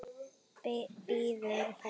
biður hún.